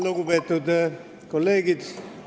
Lugupeetud kolleegid!